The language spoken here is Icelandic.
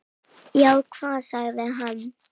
Já, hvað sagði hann?